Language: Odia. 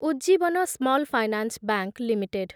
Ujjivan small finance bank limited